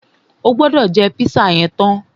O gbọ́dọ̀ jẹ́ pízà yẹn tán!